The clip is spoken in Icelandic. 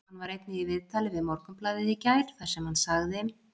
Hann var einnig í viðtali við Morgunblaðið í gær þar sem hann sagði: